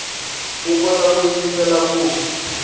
u kota ku yingiselela ku